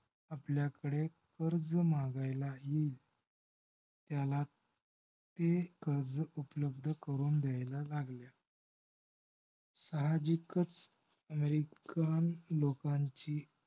आपल्याकडे कर्ज मागायला येईल. त्याला ते कर्ज उपलब्ध करून द्यायला लागल्या. साहजिकच american लोकांची